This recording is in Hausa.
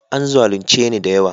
An zalunce ni da yawa